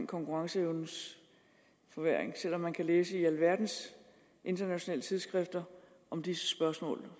konkurrenceevnens forværring selv om man kan læse i alverdens internationale tidsskrifter om det spørgsmål